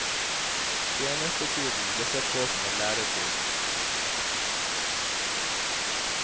Tjenestetiden ble sett på som en læretid.